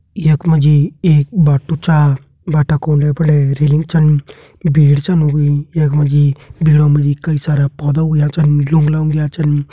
यखमा जी एक बाट्टू छा बाटा का उणे फणे रेलिंग छन भीड़ छन हुई यखमा जी भीड़ो मा जी कई सारा पौधा हुंया छन लुंगला उग्या छन।